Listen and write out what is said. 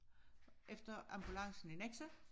Efter ambulancen i Nexø